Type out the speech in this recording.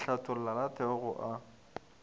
le hlothola la theoga a